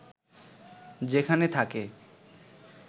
যেখানে থাকে